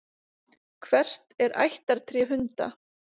Hvert er ættartré hunda?